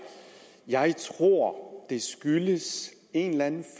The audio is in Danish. jeg tror det skyldes en eller anden